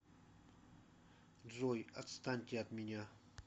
джой отстаньте от меня